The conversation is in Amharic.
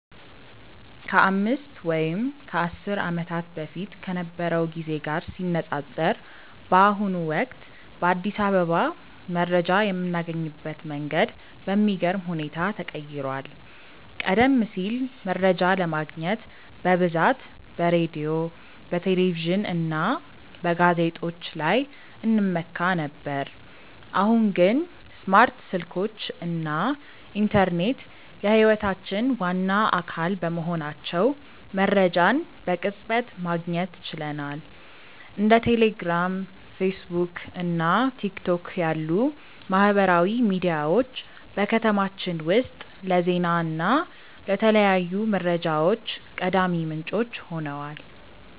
ከአምስት ወይም ከአስር ዓመታት በፊት ከነበረው ጊዜ ጋር ሲነፃፀር፣ በአሁኑ ወቅት በአዲስ አበባ መረጃ የምናገኝበት መንገድ በሚገርም ሁኔታ ተቀይሯል። ቀደም ሲል መረጃ ለማግኘት በብዛት በሬዲዮ፣ በቴሌቪዥን እና በጋዜጦች ላይ እንመካ ነበር፤ አሁን ግን ስማርት ስልኮች እና ኢንተርኔት የህይወታችን ዋና አካል በመሆናቸው መረጃን በቅጽበት ማግኘት ችለናል። እንደ ቴሌግራም፣ ፌስቡክ እና ቲክቶክ ያሉ ማህበራዊ ሚዲያዎች በከተማችን ውስጥ ለዜና እና ለተለያዩ መረጃዎች ቀዳሚ ምንጮች ሆነዋል።